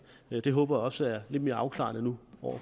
det håber jeg også er lidt mere afklaret nu